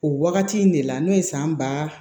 O wagati in de la n'o ye san ba